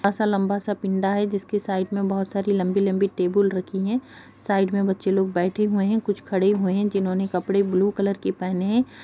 ऐसा लंबा-सा पिनडा है जिसकी साइड में बहुत सारी लंबी-लंबी टेबल रखी हैं| साइड में बच्चे लोग बैठे हुए हैं कुछ खड़े हुए जिन्होंने कपड़े ब्लू कलर के पहने हैं।